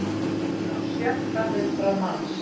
Samráð við á sjötta hundrað manns